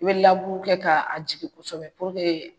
I be laburu kɛ k'a jigi kosɛbɛ puruke